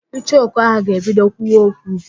Icheoku ahụ ga-ebido kwuwa okwu